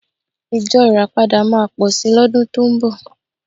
Ìjọ Ìràpadà máa pọ̀ sí lọ́dún tó ń bọ̀